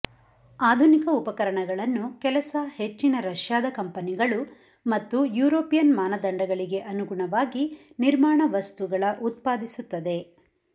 ಆಧುನಿಕ ಉಪಕರಣಗಳನ್ನು ಕೆಲಸ ಹೆಚ್ಚಿನ ರಷ್ಯಾದ ಕಂಪನಿಗಳು ಮತ್ತು ಯುರೋಪಿಯನ್ ಮಾನದಂಡಗಳಿಗೆ ಅನುಗುಣವಾಗಿ ನಿರ್ಮಾಣ ವಸ್ತುಗಳ ಉತ್ಪಾದಿಸುತ್ತದೆ